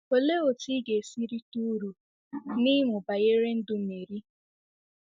Olee otú ị ga-esi rite uru n’ịmụ banyere ndụ Meri?